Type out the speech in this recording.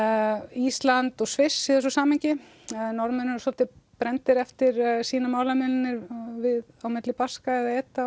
Ísland og Sviss í þessu samhengi Norðmenn eru svolítið brenndir eftir sínar málamiðlanir á milli Baska